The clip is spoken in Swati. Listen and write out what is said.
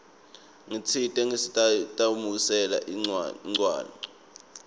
ngitsite ngisatitamatisela incwancwa